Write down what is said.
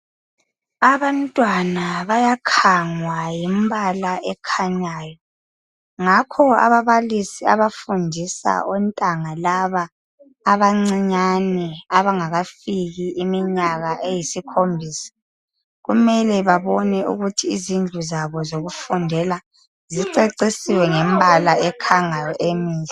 Abantwana bayakhangwa yimbala ekhanyayo. Ngakho ababalisi abafundisa ontanga laba abancinyane abangakafiki iminyaka eyisikhombisa kumele babone ukuthi izindlu zabo zokufundela zicecisiwe ngemibala ekhangayo emihle.